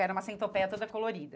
Era uma centopéia toda colorida.